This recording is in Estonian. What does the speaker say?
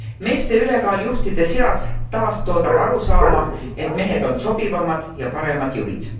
Meeste ülekaal juhtide seas taastoodab arusaama, et mehed on sobivamad ja paremad juhid.